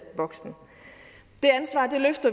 voksen